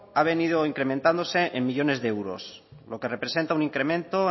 ha venido incrementándose en millónes de euros lo que representa un incremento